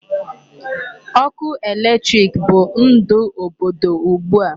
Ọkụ electric bụ ndụ obodo ugbu a.